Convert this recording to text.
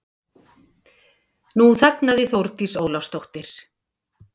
Nú þagnaði Þórdís Ólafsdóttir.